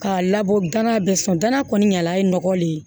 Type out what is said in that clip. K'a labɔ gana bɛ sɔn danaya kɔni ɲala ye nɔgɔ le ye